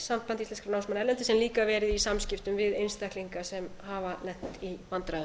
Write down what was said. sambandi íslenskra námsmanna erlendis sem líka eru í samskiptum við einstaklinga sem hafa lent í vandræðum